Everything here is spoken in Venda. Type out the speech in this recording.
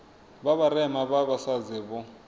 vha vharema vha vhasadzi vho